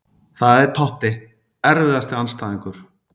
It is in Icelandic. Það er Totti Erfiðasti andstæðingur?